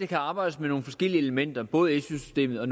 kan arbejdes med nogle forskellige elementer både i su systemet og